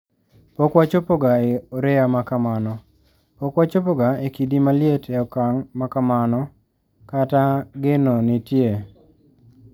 Pok wachopoga e oreya makamano, pok wachopoga e kidi maliet e okang` ma kamano kata geno nitie.